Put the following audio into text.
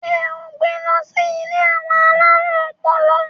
ṣe e n gbè ló si ilé àwọn alarun ọpọlọ?